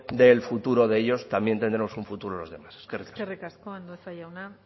del futuro de ellos también tendremos un futuro nosotros eskerrik asko eskerrik asko andueza jauna